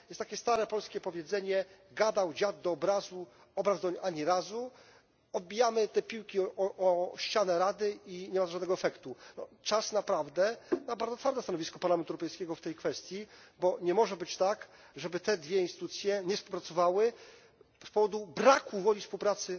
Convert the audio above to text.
Jest takie stare polskie powiedzenie gadał dziad do obrazu, obraz doń ani razu. Odbijamy te piłki do Rady i nie ma to żadnego efektu. Czas naprawdę na bardzo twarde stanowisko Parlamentu Europejskiego w tej kwestii, bo nie może być tak, żeby te dwie instytucje nie współpracowały z powodu braku woli współpracy